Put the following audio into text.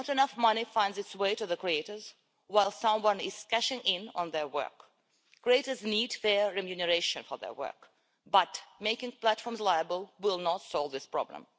Not enough money finds its way to the creators while someone else is cashing in on their work. Creators need fair remuneration for their work, but making platforms liable will not solve this problem.